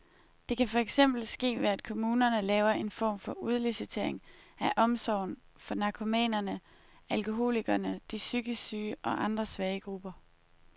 Det kan for eksempel ske ved at kommunerne laver en form for udlicitering af omsorgen for narkomanerne, alkoholikerne, de psykisk syge og andre svage grupper.